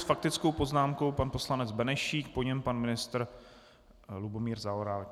S faktickou poznámkou pan poslanec Benešík, po něm pan ministr Lubomír Zaorálek.